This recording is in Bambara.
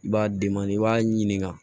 I b'a i b'a ɲininka